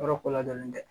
Yɔrɔ ko ladɔnlen tɛ